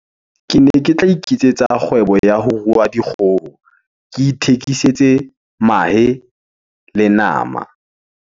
Kene ke tla iketsetsa kgwebo ya ho rua dikgoho. Ke ithekisetse mahe le nama.